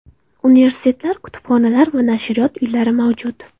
Universitetlar, kutubxonalar va nashriyot uylari mavjud.